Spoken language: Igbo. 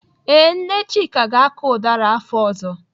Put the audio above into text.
Ee, Nne Chika ga-akọ ụdara afọ ọzọ.